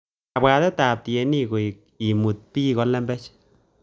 Kabwatetab ab tienik koek imut bik kolembech